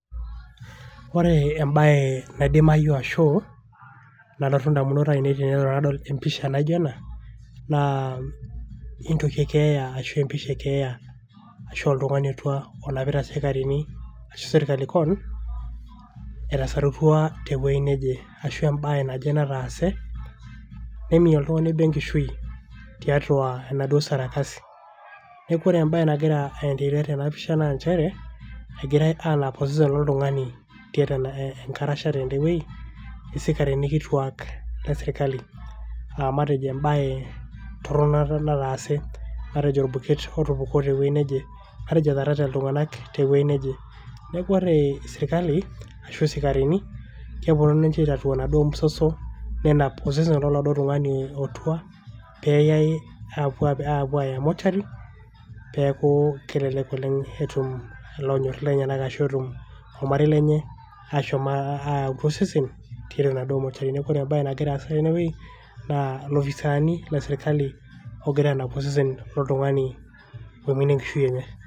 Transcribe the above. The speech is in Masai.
Ore embae naidimayu ashu nalotu indamunot ainei tenelo nadol emisha naijo ena naa aa entoki e keeya ashu empisha e keeya ashu oltungani otua onapita isikarini ashu sirkali kewon etasarautua tewuei neje ashu embae naje nataase neiminie oltungani obo enkishui tiatua enaduoo sarakasi . niaku ore embae nagira endelea tena pisha naa nchere egirae anap osesen lolotungani tiatua enkarasha tende wuei isikarini kituaak le sirkali .aa matejo embae torono aa nataase matejo orbuket otupukuo tewuei neje matejo etaarate iltunganak tewuei neje. niaku ore sirkali ashu isikarini kepuonu ninche aitatua enaduoo msoso nenap osesen loladuoo tungani otua peyay apuo aya mortuary neaku kelelek oleng etum ilanyor lenyenak ashu ormarei lenye ashom ayau oladuoo sesen tiatua enaduoo mortuary niaku ore embae nagira aasa tene wuei naa ilooisaani le sirkali ogira anap osesen loltungani oiminie enkishui enye.